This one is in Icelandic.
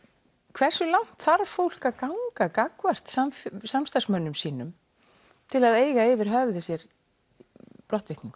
hversu langt þarf fólk að ganga gagnvart samstarfsmönnum sínum til að eiga yfir höfði sér brottvikningu